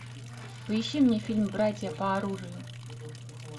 поищи мне фильм братья по оружию